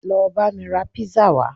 Lọ bá mi rà pizza wá